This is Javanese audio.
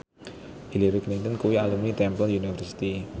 Hillary Clinton kuwi alumni Temple University